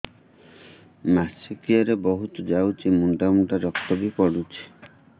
ମାସିକିଆ ରେ ବହୁତ ଯାଉଛି ମୁଣ୍ଡା ମୁଣ୍ଡା ରକ୍ତ ବି ପଡୁଛି